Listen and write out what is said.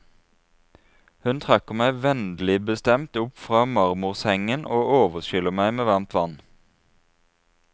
Hun trekker meg vennligbestemt opp fra marmorsengen og overskyller meg med varmt vann.